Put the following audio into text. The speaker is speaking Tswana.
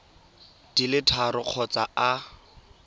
di le tharo kgotsa a